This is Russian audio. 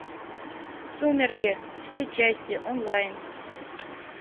сумерки все части онлайн